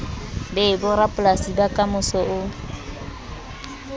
be borapolasi ba kamoso o